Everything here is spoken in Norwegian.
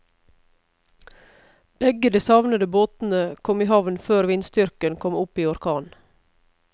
Begge de savnede båtene kom i havn før vindstyrken kom opp i orkan.